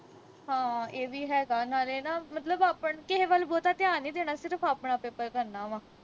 ਹਾਂ ਇਹ ਵੀ ਹੈਗਾ ਨਾਲੇ ਨਾ ਮਤਲਬ ਆਪਣਾ ਕਿਹੇ ਵੱਲ ਬਹੁਤਾ ਧਿਆਨ ਨੀ ਦੇਣਾ ਸਿਰਫ ਆਪਣਾ paper ਕਰਨਾ ਵਾ